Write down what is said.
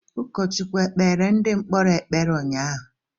Ụkọchukwu e kpeere ndị mkpọrọ ekpere unyaahụ?